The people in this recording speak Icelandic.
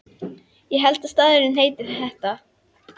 Ég held að staðurinn heiti þetta.